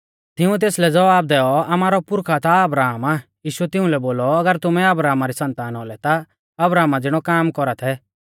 तिंउऐ तेसलै ज़वाब दैऔ आमारौ पुरखा ता अब्राहम आ यीशुऐ तिउंलै बोलौ अगर तुमै अब्राहमा री सन्तान औलै ता अब्राहमा ज़िणौ काम कौरा थै